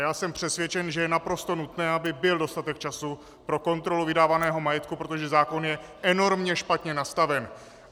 Já jsem přesvědčen, že je naprosto nutné, aby byl dostatek času pro kontrolu vydávaného majetku, protože zákon je enormně špatně nastaven.